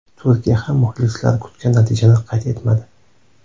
Turkiya ham muxlislar kutgan natijani qayd etmadi.